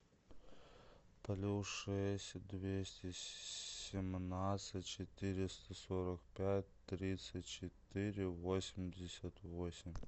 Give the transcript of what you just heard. плюс шесть двести семнадцать четыреста сорок пять тридцать четыре восемьдесят восемь